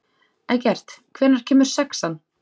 Eggert, hvenær kemur sexan?